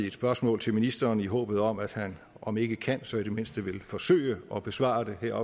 et spørgsmål til ministeren i håbet om at han om ikke kan så i det mindste vil forsøge at besvare det her